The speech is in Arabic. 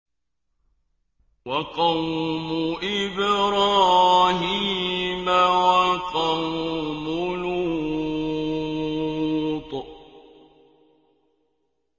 وَقَوْمُ إِبْرَاهِيمَ وَقَوْمُ لُوطٍ